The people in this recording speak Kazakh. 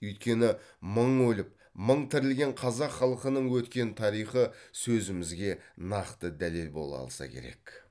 өйткені мың өліп мың тірілген қазақ халқының өткен тарихы сөзімізге нақты дәлел бола алса керек